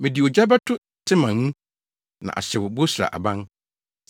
Mede ogya bɛto Teman mu, na ahyew Bosra aban.”